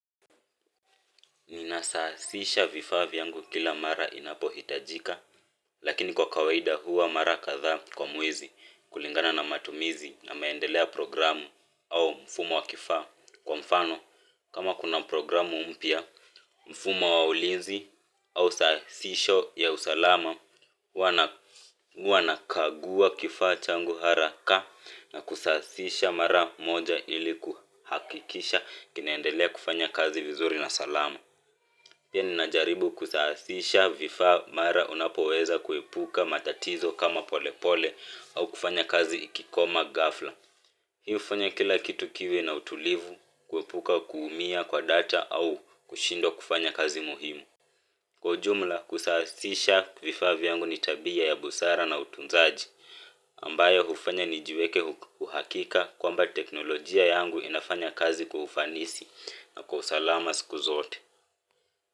Ninasawazisha vifaa vyangu kila mara inapohitajika lakini kwa kawaida huwa mara kadhaa kwa mwezi kulingana na matumizi na maendeleo ya programu au mfumo wa kifaa kwa mfano kama kuna programu mpya mfumo wa ulinzi au sasisho ya usalama. Wanakagua kifaa changu haraka na kusasisha mara moja ili kuhakikisha kinaendelea kufanya kazi vizuri na salama pia ninajaribu kusasisha vifaa mara unapoweza kuepuka matatizo kama polepole ama kufanya kazi ikigoma ghafla hii hufanya kila kitu kiwe na utulivu kuepuka kuumia kwa data au kushindwa kufanya kazi muhimu. Kwa ujumla kusasisha vifaa vyangu ni tabia ya busara na utunzaji ambayo hufanya nijiweke uhakika kwamba teknolojia yangu inafanya kazi kwa ufanisi na kwa usalama siku zote.